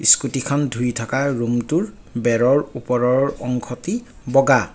স্কুটীখন ধুই থকা ৰুমটোৰ বেৰৰ ওপৰৰ অংশটি বগা।